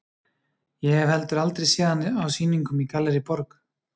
Ég hef heldur aldrei séð hann á sýningum í Gallerí Borg.